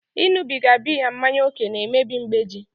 Ịṅụbiga biya mmanya ókè na-emebi mgbeji